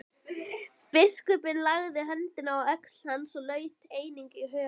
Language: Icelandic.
Biskupinn lagði höndina á öxl hans og laut einnig höfði.